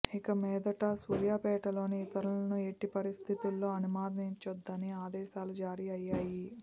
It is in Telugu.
ఇకమీదట సూర్యాపేటలోకి ఇతరులను ఎట్టి పరిస్థితుల్లో అనుమతించొద్దని ఆదేశాలు జారీ అయ్యాయి